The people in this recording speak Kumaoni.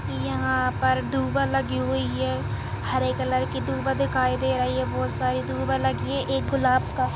यहाँ पर दुबा लगी हुई है हरे कलर की दुबा दिखाई दे रही है बहोत सारी दुबा लगी है एक गुलाब का --